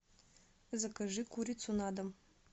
закажи курицу на дом